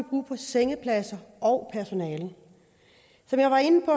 brug for sengepladser og personale som jeg var inde på